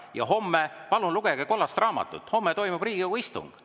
Ja homme – palun lugege kollast raamatut – toimub Riigikogu istung.